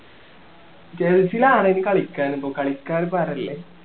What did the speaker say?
ഗൾഫിലാണെങ്കി കളിക്കാരുന്നു കളിക്കാൻ പാടല്ലേ